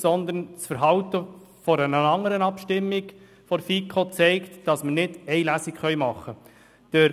Doch das Verhalten bei einer anderen Abstimmung der FiKo hat gezeigt, dass wir nicht nur eine Lesung abhalten können.